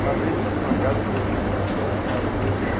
Uma vez eu fui numa casa, coloquei um carpete maravilhoso lá.